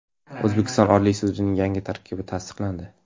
O‘zbekiston Oliy sudining yangi tarkibi tasdiqlandi.